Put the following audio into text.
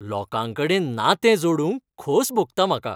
लोकांकडेन नातें जोडूंक खोस भोगता म्हाका.